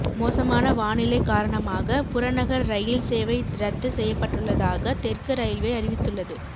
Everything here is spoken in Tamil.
மோசமான வானிலை காரணமாக புறநகர் ரயில் சேவை ரத்து செய்யப்பட்டுள்ளதாக தெற்கு ரயில்வே அறிவித்துள்ளது